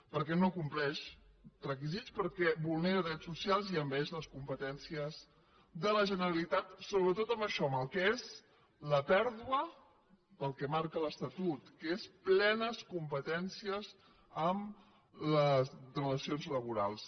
perquè no compleix requisits perquè vulnera drets socials i envaeix les competències de la generalitat sobretot en això en el que és la pèrdua del que marca l’estatut que és plenes competències en les relacions laborals